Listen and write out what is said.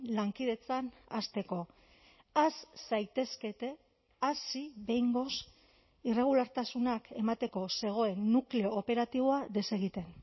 lankidetzan hasteko has zaitezkete hasi behingoz irregulartasunak emateko zegoen nukleo operatiboa desegiten